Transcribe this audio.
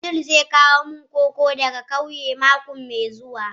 Abdul zai kawo min koko daga kauye mako mai zuwa.